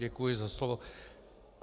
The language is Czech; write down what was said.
Děkuji za slovo.